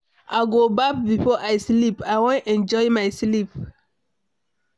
I go baff before I sleep oo, I wan enjoy my sleep.